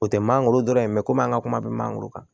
O tɛ mangoro dɔrɔn ye mɛ komi an ka kuma bɛ mangoro kan